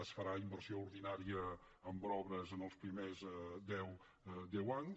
es farà inversió ordinària en obres els primers deu anys